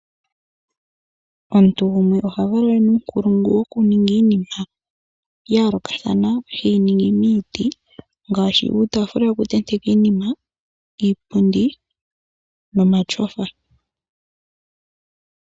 Omuntu gumwe oha vulu ena uunkulungu woku ninga iinima ya yoolokathana teyi ningi miiti ngaashi uutaafula woku tendeka iinima, iipundi nomatyofa.